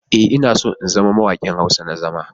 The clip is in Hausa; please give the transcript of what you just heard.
E,, ina so in zama mawaƙi Hausa na zama.